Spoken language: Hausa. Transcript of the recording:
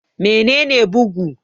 Mene ne bugu?